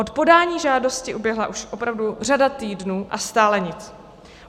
Od podání žádosti uběhla už opravdu řada týdnů, a stále nic.